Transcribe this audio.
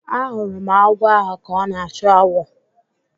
Ahụrụ m agwọ ahụ ka ọ na-achụ awọ